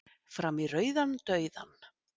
Fram í rauðan dauðann